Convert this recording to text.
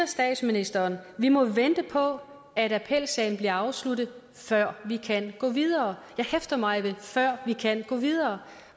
statsministeren vi må vente på at appelsagen bliver afsluttet før vi kan gå videre jeg hæfter mig ved før vi kan gå videre